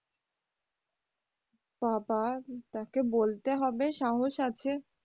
বাবা তাকে বলতে হবে সাহস আছে।